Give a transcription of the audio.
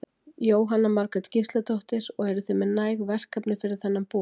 Jóhanna Margrét Gísladóttir: Og eruð þið með næg verkefni fyrir þennan bor?